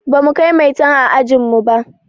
Bamu kai maitan a ajin mu ba.